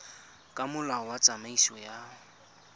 ka molao wa tsamaiso ya